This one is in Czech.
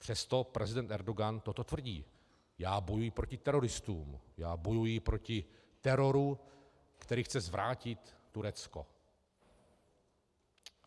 Přesto prezident Erdogan toto tvrdí - já bojuji proti teroristům, já bojuji proti teroru, který chce zvrátit Turecko.